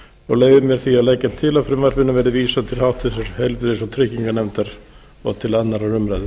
leyfi mér því að leggja til að frumvarpinu verði vísað til háttvirtrar heilbrigðis og trygginganefndar og til annarrar umræðu